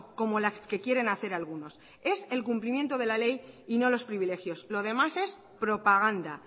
como las que quieren hacer algunos es el cumplimiento de la ley y no los privilegios lo demás es propaganda